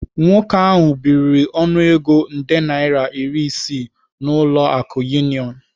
Nwoke ahu biri ọnụego nde naira iri isii n'ụlọ akụ Union.